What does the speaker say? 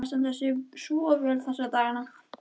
Óli er að standa sig svo vel þessa dagana.